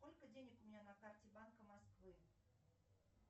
сколько денег у меня на карте банка москвы